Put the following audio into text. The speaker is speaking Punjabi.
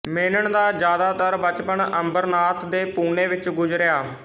ਮੇਨਨ ਦਾ ਜਾਦਾਤਰ ਬਚਪਨ ਅੰਬਰਨਾਥ ਤੇ ਪੂਨੇ ਵਿੱਚ ਗੁਜਰਿਆ